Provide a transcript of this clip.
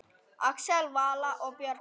Axel, Vala og börn.